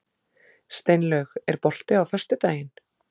Steinlaug, er bolti á föstudaginn?